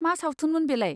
मा सावथुनमोन बेलाय?